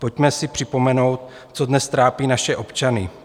Pojďme si připomenout, co dnes trápí naše občany.